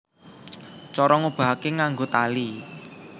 Cara ngobahake nganggo tali